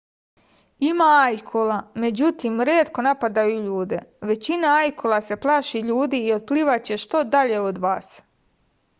ima ajkula međutim retko napadaju ljude većina ajkula se plaši ljudi i otplivaće što dalje od vas